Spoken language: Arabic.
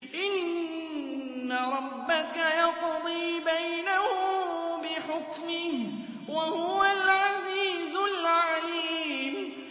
إِنَّ رَبَّكَ يَقْضِي بَيْنَهُم بِحُكْمِهِ ۚ وَهُوَ الْعَزِيزُ الْعَلِيمُ